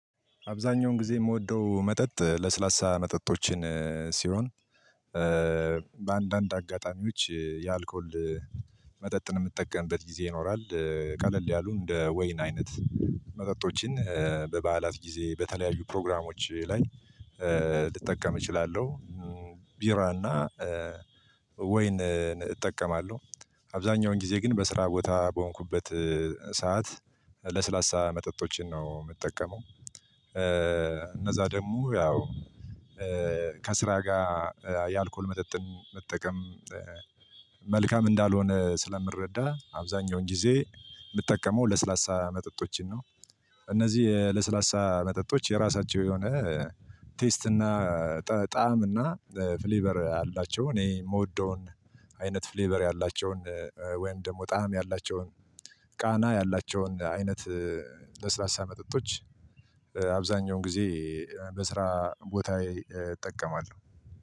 አብዛኛውን ጊዜ የምወደው መጠጥ ለስላሳ መጠጦችን ሲሆን በአንዳንድ አጋጣሚዎች የአልኮል መጠጥን የምጠቀምበት ጊዜ ይኖራል። ቀለል ያሉ እንደ ወይን አይነት መጠጦችን በበዓላት ጊዜ በተለያዩ ፕሮግራሞች ላይ ልጠቀም እችላለሁ። ቢራ እና ወይንን እጠቀማለሁ። አብዛኛውን ጊዜ ግን በስራ ቦታ በሆንኩበት ሰዓት ለስላሳ መጠጦችን ነው የምጠቀመው እነዛ ደግሞ ያው ከስራ ጋር የአልኮል መጠጥን መጠቀም መልካም እንዳልሆነ ስለምረዳ አብዛኛውን ጊዜ የምጠቀመው ለስላሳ መጠጦችን ነው። እነዚህ ለስላሳ መጠጦች የራሳቸው የሆነ ቴስት እና ጣዕም እና ፍሌበር አላቸው። እኔ የምወደውን አይነት ፍሌበር ያላቸውን ወይም ደግሞ ጣዕም ያላቸውን ቃና ያላቸውን አይነት ለስላሳ መጠጦች። አብዛኛውን ጊዜ በስራ ቦታዬ እጠቀማለሁ